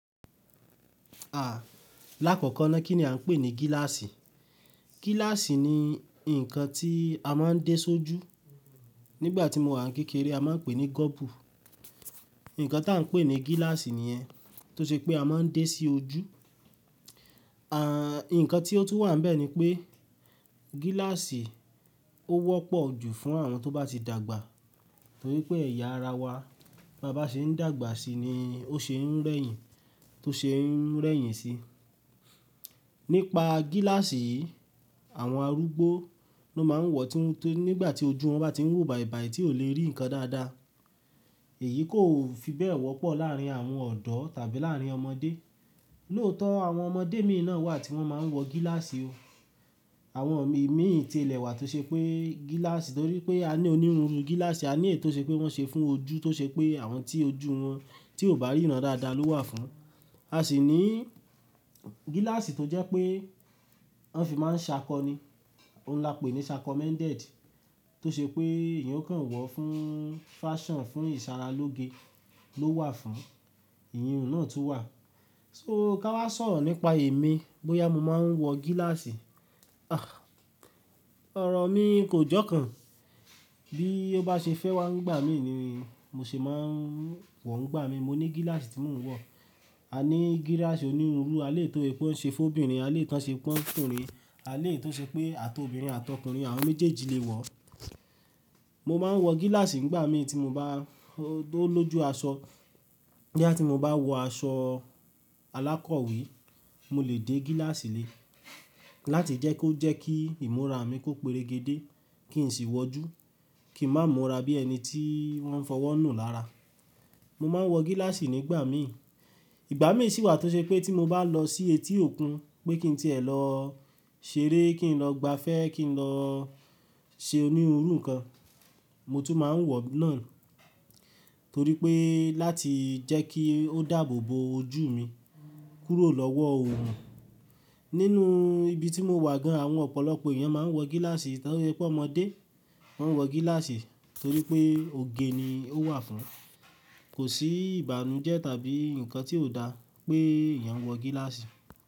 Lákọ̀kọ̀ na kíni a ń pè ní gíláàsì? Gíláàsì ni nǹkan tí a máa ń dé sójú. Nígbà tí mo wà ní kékeré a máà ń pè ní gọ́bù. Ǹǹkan tí a ń pè ní gíláàsì niyẹn, tó ṣe pé a máa ń dé sí ojú. Ǹkan tí ó tún wà níbẹ̀ ni pé gíláàsì ó wọ́pọ̀ jù fún àwọn tó bá ti dàgbà torí pé ẹ̀yà ara wa tí a bá ṣe ń dàgbà sí i ni ó ṣe ń rẹ́yìn, tó ṣe ń rẹ́yìn si. Nípa gíláàsì yii, àwọn arúgbó ló máa ń wọ tí, tí, nígbà tí ojú wọn bá tí ń wo bàìbàì tí ò lè rí ǹkan dáadáa. Èyí kò fi bẹ́ẹ̀ wọ́pọ̀ láàrin àwọn ọ̀dọ́ tàbí láàrin ọmọdé. Lóòótọ́ àwọn ọmọdé míì náà wà tí wọ́n máa ń wọ gíláàsì o. Àwọn ìmíì ti ilẹ̀ wa tó ṣe pé gíláàsì torí pé a ní onírunru gíláàsì, a ní ètò tí wọ́n ṣe fún ojú tó ṣe pé àwọn tí ojú wọn tí ò bá ríran dáadáa ló wà fún. A sì ní gíláàsì tó jẹ́ pé wọ́n fi máa ń ṣàkọni, ohun lá pè ní sakomendedi tó ṣe pé èèyàn o kàn wọ̀ fún fáṣàn, fún ìsara lóge ló wà fún. Ìyun náà tún wà. So ká wá sọ̀rọ̀ nípa èmi bóyá mo máa ń wọ gíláàsì. Ọrọ̀ mi kò jọ́kàn. Bí ó bá ṣe fẹ́ wá ń gbà mí ni mí, mo sì máa ń wọ ń gbà mí, mo ní gíláàsì tí mò ń wọ. A ní gíláàsì onírunru, a lè tó èyí pé ó ń ṣe fún obìnrin, a lè tó èyí pé ó ń ṣe fún ọkùnrin, a lè tó ṣe pé àtọ̀bìnrin àtọkùnrin àwọn méjèèjì lè wọ. Mo máa ń wọ gíláàsì nígbà mí tí mo bá tó lójú aṣọ. Boya tí mo bá wọ aṣọ alákọ̀wé, mo lè dé gíláàsì lé láti jẹ́ kó jẹ́ kí ìmúra mi kó peregédé, kí n sì wọjú, kí n má múra bí ẹni tí wọ́n fọwọ́ nù lára. Mo máa ń wọ gíláàsì nígbà mí. Ìgbà mí sì wà tó ṣe pé tí mo bá lọ sí etí òkun pé kí n tí ẹ̀ lọ ṣeré, kí n lọ gbafẹ́, kí n lọ ṣe onírun nǹkan, mo tún máa ń wọ náà torí pé láti jẹ́ kí ó dáàbò bo ojú mi kúrò lọ́wọ́ oòrùn. Nínú ibi tí mo wà gan, àwọn ọ̀pọ̀lọpọ̀ èèyàn máa ń wọ gíláàsì torí pé ọmọdé máa ń wọ gíláàsì torí pé òge ni ó wà fún. Kò sí ìbànújẹ́ tàbí ǹkan tí ò dá pé èèyàn ń wọ gíláàsì.